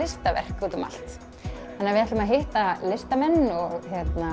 ljóslistaverk úti um allt þannig við ætlum að hitta listamenn og